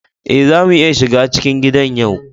Eh, za mu iya shiga cikin gidan yau.